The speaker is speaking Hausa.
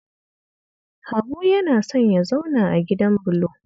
Habu yana son ya zauna a gidan bulo